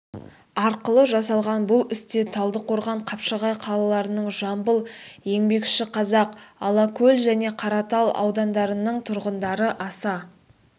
арқылы жасалған бұл істе талдықорған қапшағай қалаларының жамбыл еңбекшіқазақ алакөл және қаратал аудандарының тұрғындары аса